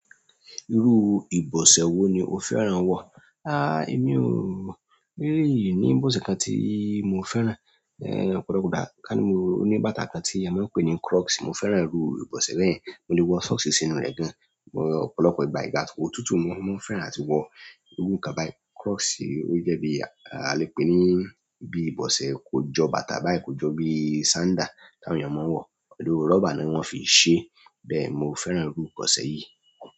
Irú ìbọ̀sẹ̀ wo ni o fẹ́ràn wọ̀? Èmi ò, mi ò really ní ìbọ̀sẹ̀ kan tí mo fẹ́ràn. Ọ̀pọ̀lọpọ̀ ìgbà kàní mo ní bàtà kan tí a máa ń pè ní crocs, mo fẹ́ràn irú ìbọ̀sẹ̀ bẹ́ẹ̀. Mo lè wọ socks sínú rẹ̀ gan-an ọ̀pọ̀lọpọ̀ ìgbà, ìgbà òtútù máa ń mú, mo máa ń fẹ́ràn àtiwọ irú nǹkan báyìí. Crocs ó jẹ́ bí a lè pèé ní bí ìbọ̀sẹ̀, kò jọ bàtà báyìí, kò jọ bíi sandal táwọn èèyàn máa ń wọ̀. Pẹ̀lú rọ́bà ni wọ́n fi ṣeé. Bẹ́ẹ̀ mo fẹ́ràn irú ìbọ̀sẹ̀ yìí.